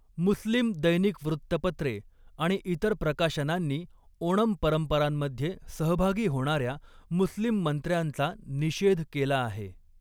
मुस्लिम दैनिक वृत्तपत्रे आणि इतर प्रकाशनांनी ओणम परंपरांमध्ये सहभागी होणाऱ्या मुस्लिम मंत्र्यांचा निषेध केला आहे.